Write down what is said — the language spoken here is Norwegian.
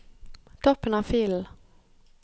Toppen av filen